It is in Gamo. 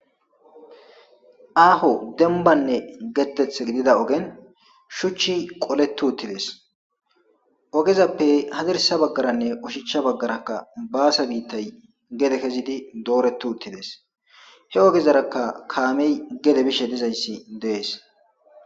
aaho denbanne getteth gidida ogen shuchchi qoletu uttidees ogezappe hadirsa baggaranne ushicha baggarakka baasa biittay gede kezidi dooretu uttidees he ogezarakka kaamey gede bishe dizayssi dees